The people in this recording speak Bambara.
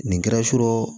Nin kɛra so